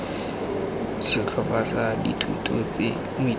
setlhopha sa dithuto tse moithuti